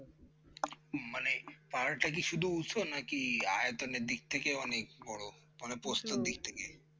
পাহাড়টা কি শুধু উঁচু নাকি আয়তনের দিক থেকেও অনেক বড় মানে দিক থেকে